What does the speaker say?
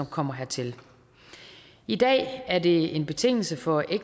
kommer hertil i dag er det en betingelse for